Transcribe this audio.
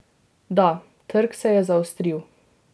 Da, trg se je zaostril.